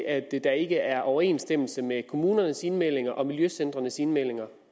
af at der ikke er overensstemmelse mellem kommunernes indmeldinger og miljøcentrenes indmeldinger